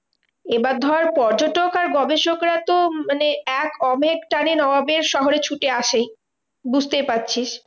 এবার ধর পর্যটক আর গবেষকরা তো মানে এক নবাবের শহরে ছুটে আসেই বুঝতেই পারছিস।